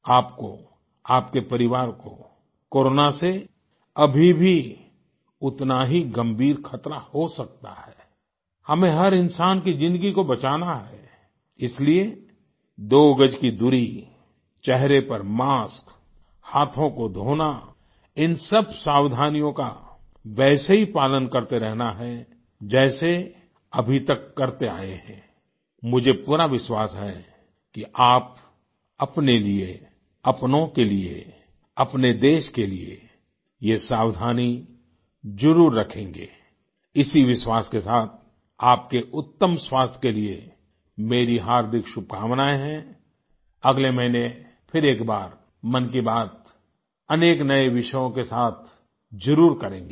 आपको आपके परिवार को कोरोना से अभी भी उतना ही गंभीर ख़तरा हो सकता है आई हमें हर इंसान की ज़िन्दगी को बचाना है इसलिए दो गज की दूरी चेहरे पर मास्क हाथों को धोना इन सब सावधानियों का वैसे ही पालन करते रहना है जैसे अभी तक करते आए हैं आई मुझे पूरा विश्वास है कि आप अपने लिए अपनों के लिए अपने देश के लिए ये सावधानी ज़रूर रखेंगे आई इसी विश्वास के साथ आपके उत्तम स्वास्थ्य के लिए मेरी हार्दिक शुभकामनायें हैं आई अगले महीने फिर एक बार मन की बात अनेक नए विषयों के साथ जरुर करेंगे